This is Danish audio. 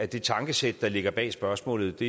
det tankesæt der ligger bag spørgsmålet